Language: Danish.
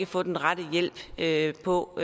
få den rette hjælp på